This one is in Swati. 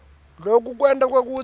loku kwenta kwekutsi